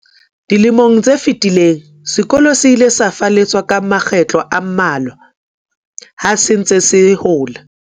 Dilemo tse fetileng, sekolo se ile sa falleswa ka makgetlo a mmalwa ha se ntse se hola.